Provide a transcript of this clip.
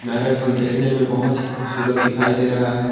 Marriage hall देखने में बहोत ही खूबसूरत दिखाई दे रहा हैं।